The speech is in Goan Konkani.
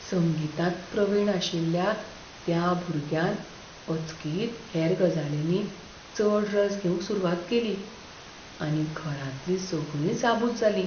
संगीतांत प्रवीण आशिल्ल्या त्या भुरग्यान अचकीत हेर गजालींनी चड रस घेवंक सुरवात केली आनी घरांतलीं सगळींच आबूज जालीं.